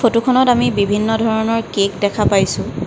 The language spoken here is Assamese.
ফটোখনত আমি বিভিন্ন ধৰণৰ কেক দেখা পাইছোঁ।